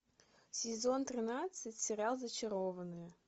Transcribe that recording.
сезон тринадцать сериал зачарованные